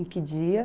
Em que dia?